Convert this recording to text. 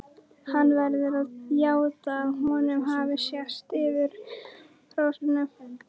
Hann verður að játa að honum hafi sést yfir hóruhúsin.